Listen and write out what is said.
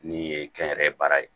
Ni ye kɛnyɛrɛye baara ye